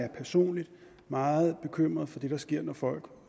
er personligt meget bekymret for det der sker når folk